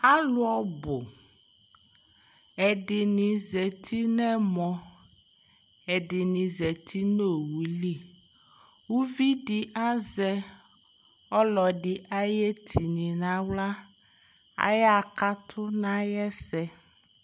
alo ɔbo ɛdini zati no ɛmɔ ɛdini zati no owu li uvi di azɛ ɔlo ɛdi ayi etini no ala aya ɣa kato no ayɛsɛ